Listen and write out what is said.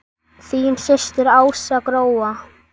Þín systir Ása Gróa.